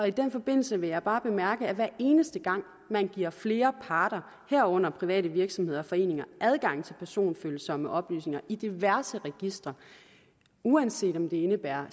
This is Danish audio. i den forbindelse vil jeg bare bemærke at hver eneste gang man giver flere parter herunder private virksomheder og foreninger adgang til personfølsomme oplysninger i diverse registre uanset om det indebærer